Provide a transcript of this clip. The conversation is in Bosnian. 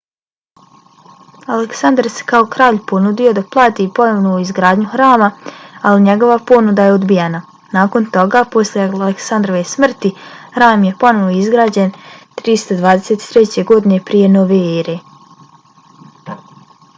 aleksandar se kao kralj ponudio da plati ponovnu izgradnju hrama ali njegova ponuda je odbijena. nakon toga posle aleksandrove smrti hram je ponovo izgrađen 323. godine prije nove ere